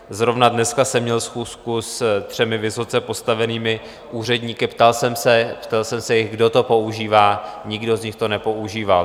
Zrovna dneska jsem měl schůzku se třemi vysoce postavenými úředníky, ptal jsem se jich, kdo to používá - nikdo z nich to nepoužívá.